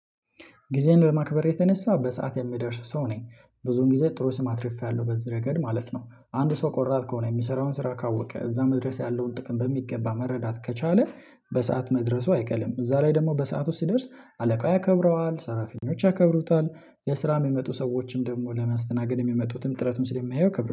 ጊዜን በማክበር የተነሳው በሰአት የምደርስ ሰው ነኝ ብዙን ጊዜ ጥሩ ስም አትርፌያለሁ በዚህ ረገድ ማለት ነው። አንዱ ሰው ቆራጥ ከሆነ የሚሰራውን ስራ ካወቀ እዛ መድረስ ያለውን ጥቅም በሚገባ መረዳት ከቻለ በሰአት መድረሱ አይቀርም እዛ ላይ ደግሞ በሰአት ውስጥ ሲደርስ አለቃ ያከብረዋል ሰራተኞች ያከብሩታል። የስራ የሚመጡ ሰዎችም ደግሞ ለማስተናገድ የሚመጡትም ጥረቱን ስለሚያዩ ክብር